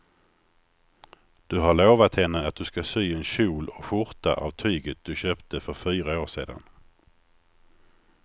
Du har lovat henne att du ska sy en kjol och skjorta av tyget du köpte för fyra år sedan.